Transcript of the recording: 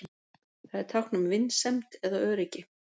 Það er tákn um vinsemd eða öryggi.